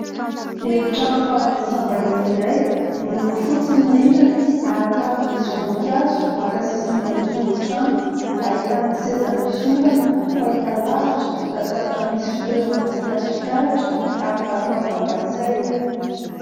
Efitrano fandraisam-bahiny iray, miloko fotsy ny rindrina, ary tavy misy voninkazo maka sisiny eny amin'ny zoron-trano. Ahitana seza misy ondana, fahitalavitra, latabatra misy fitoeram-boninkazo fitaratra, ary vata fampangatsiahana.